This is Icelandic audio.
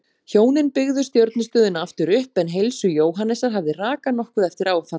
Hjónin byggðu stjörnustöðina aftur upp en heilsu Jóhannesar hafði hrakað nokkuð eftir áfallið.